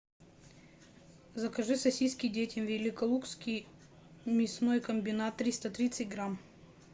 закажи сосиски детям великолукский мясной комбинат триста тридцать грамм